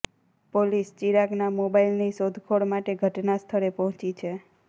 police ચિરાગના મોબાઈલની શોધખોળ માટે ઘટના સ્થળે પહોંચી છે